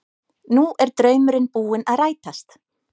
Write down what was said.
Nú er draumurinn búinn að rætast